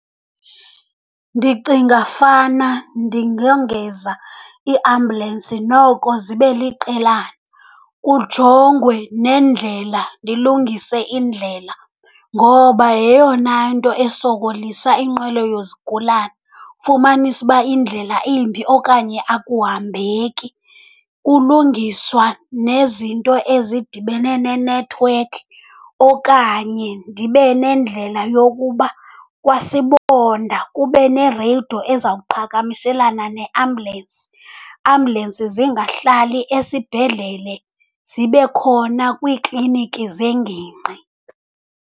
Ndicinga fana ndingongeza iiambhulensi noko zibe liqelana. Kujongwe nendlela, ndilungise indlela, ngoba yeyona nto esokolisa inqwelo yezigulana. Fumanise uba indlela imbi okanye akuhambeki. Kulungiswa nezinto ezidibene nenethiwekhi, okanye ndibe nendlela yokuba kwaSibonda kube nereyido ezawuqhagamishelana neambhulensi. Ambhulensi zingahlali esibhedlele, zibe khona kwiikliniki zengingqi.